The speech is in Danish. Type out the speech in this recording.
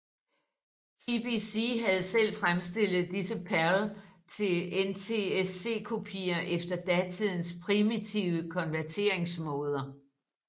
BBC havde selv fremstillet disse PAL til NTSC kopier efter datidens primitive konverteringsmåder